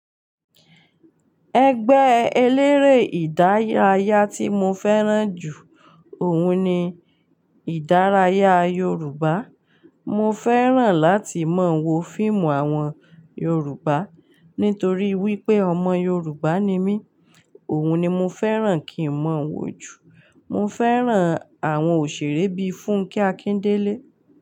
Ẹgbẹ́ eléré ìdárayá tí mo fẹ́ràn jù, òun ni ìdárayá Yorùbá. Mo fẹ́ràn láti mọ̀ wo fíìmù àwọn Yorùbá, nítorí wípé ọmọ Yorùbá ni mí. Òun ni mo fẹ́ràn kí n mọ̀ wo jù. Mo fẹ́ràn àwọn òṣèré bíi Fúnkẹ́ Akíndélé.